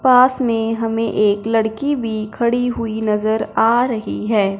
पास में हमें एक लड़की भी खड़ी हुई नजर आ रही है।